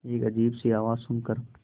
एक अजीब सी आवाज़ सुन कर